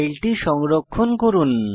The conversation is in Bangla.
ফাইলটি সংরক্ষণ করুন